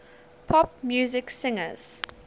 pop music singers